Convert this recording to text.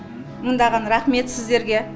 мыңдаған рахмет сіздерге